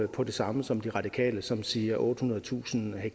på det samme som de radikale som siger ottehundredetusind ha